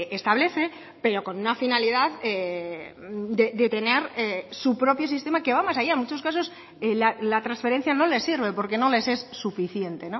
establece pero con una finalidad de tener su propio sistema que va más allá en muchos casos la transferencia no les sirve porque no les es suficiente